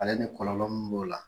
Ale ni kɔlɔlɔ mun b'o la.